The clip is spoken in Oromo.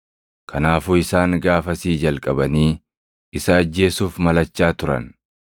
Kanaafuu isaan gaafasii jalqabanii isa ajjeesuuf malachaa turan.